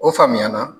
O faamuya na